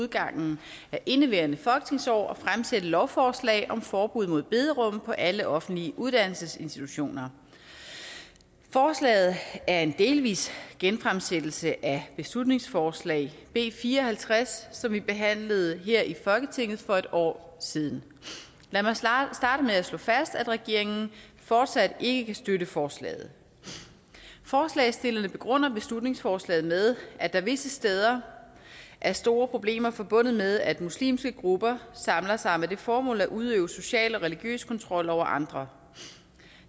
udgangen af indeværende folketingsår at fremsætte et lovforslag om forbud mod bederum på alle offentlige uddannelsesinstitutioner forslaget er en delvis genfremsættelse af beslutningsforslag b fire og halvtreds som vi behandlede her i folketinget for et år siden lad mig starte med at slå fast at regeringen fortsat ikke kan støtte forslaget forslagsstillerne begrunder beslutningsforslaget med at der visse steder er store problemer forbundet med at muslimske grupper samler sig med det formål at udøve social og religiøs kontrol over andre